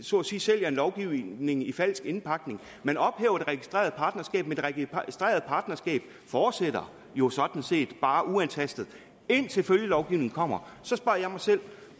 så at sige sælger en lovgivning i falsk indpakning man ophæver det registrerede partnerskab men det registrerede partnerskab fortsætter jo sådan set bare uantastet indtil følgelovgivningen kommer så spørger jeg mig selv